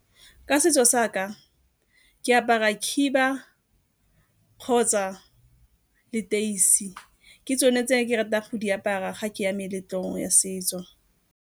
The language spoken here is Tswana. Ka setso sa ka ke apara khiba kgotsa leteisi. Ke tsone tse ke ratang go di apara ga ke ya meletlong ya setso.